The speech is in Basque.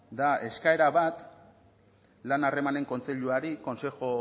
da eskaera bat lan harremanen kontseiluari consejo